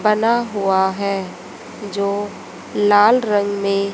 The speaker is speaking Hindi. बना हुआ है जो लाल रंग में--